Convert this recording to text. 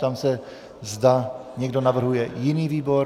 Ptám se, zda někdo navrhuje jiný výbor.